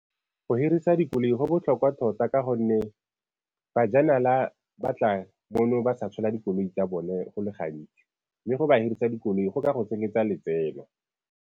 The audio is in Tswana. Go hirisa dikoloi go botlhokwa tota ka gonne bajanala ba tla mono ba sa tshola dikoloi tsa bone go le gantsi, mme go ba hirisa dikoloi go ka go tsenyetsa letseno.